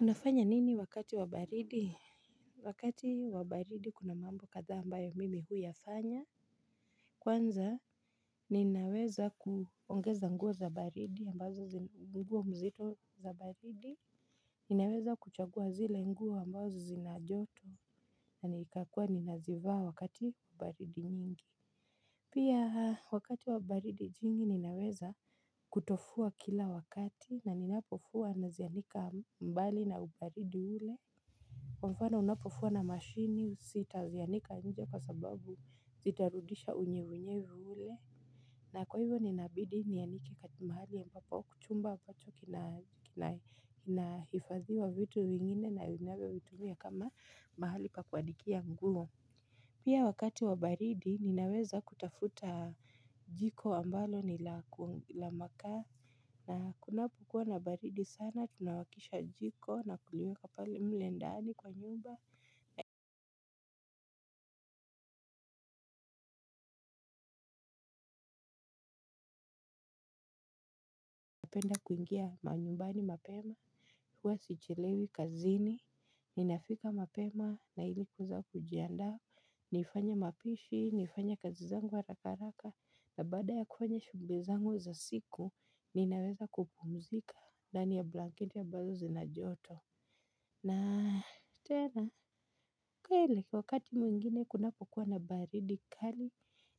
Unafanya nini wakati wa baridi. Wakati wa baridi kuna mambo kadha ambayo mimi huyafanya. Kwanza ninaweza kuongeza nguo za baridi ambazo nguo mzito za baridi. Ninaweza kuchagua zile nguo ambazo zina joto na nikakua ninazivaa wakati ubaridi nyingi. Pia wakati wa baridi jingi ninaweza kutofua kila wakati na ninapofua nazianika mbali na ubaridi ule. Kwa mfano unapofua na mashini sita zianika nje kwa sababu zitarudisha unyevunyevu ule. Na kwa hivyo ninabidi nianike kati mahali ambapo chumba bacho kinaifadhiwa vitu vingine na linalo vitumia kama mahali pa kuanikia nguo. Pia wakati wa baridi ninaweza kutafuta jiko ambalo ni la makaa. Na kunapokuwa na baridi sana tunawakisha jiko na kuliweka pale mle ndani kwa nyumba. Napenda kuingia manyumbani mapema huwa sichelewi kazini, ninafika mapema nailikueza kujiandaa. Nifanye mapishi, nifanye kazi zangu harakaraka. Na baada ya kufanya shuguli zangu za siku, ninaweza kupumzika ndani ya blanketi ya ambazo zina joto. Na tena, kweli, wakati mwingine kunapokuwa na baridi kali,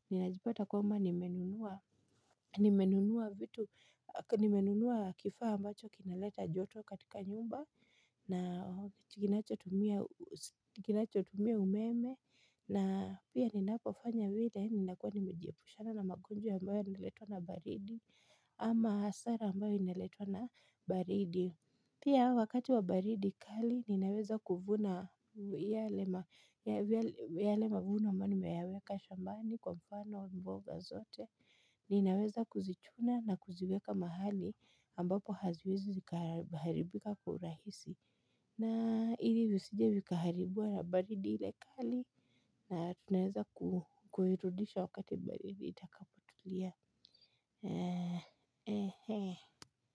ninajipata kwamba nimenunua kifaa ambacho kinaleta joto katika nyumba, na kinacho tumia umeme, na pia ninapo fanya vile, ninakua nimejiepushana na magonjwa ambayo ineletwa na baridi, ama hasara ambayo ineletwa na baridi. Pia wakati wa baridi kali ninaweza kuvuna yale mavuno ambayo nimayaweka shambani kwa mfano mboga zote. Ninaweza kuzichuna na kuziweka mahali ambapo haziwezi zikaharibika kwa urahisi. Na ili zisije vikaharibiwa na baridi ile kali na tunaweza kuirudisha wakati baridi itakapotulia.